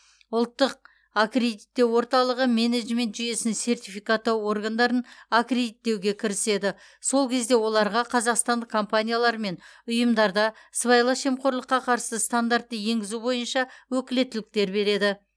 ұлттық аккредиттеу орталығы менеджмент жүйесін сертификаттау органдарын аккредиттеуге кіріседі сол кезде оларға қазақстандық компаниялар мен ұйымдарда сыбайлас жемқорлыққа қарсы стандартты енгізу бойынша өкілеттіліктер береді